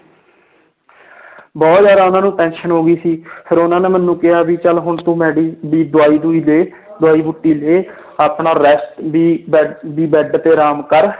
ਬਹੁਤ ਜ਼ਿਆਦਾ ਉਹਨਾਂ ਨੂੰ tension ਹੋ ਗਈ ਸੀ ਫਿਰ ਉਹਨਾਂ ਨੇ ਮੈਨੂੰ ਕਿਹਾ ਵੀ ਚੱਲ ਹੁਣ ਤੂੰ ਮੈਡੀ ਵੀ ਦਵਾਈ ਦਵੂਈ ਦੇ ਦਵਾਈ ਬੂਟੀ ਲੈ ਆਪਣਾ rest ਵੀ ਬੈ ਵੀ ਬੈਡ ਤੇ ਆਰਾਮ ਕਰ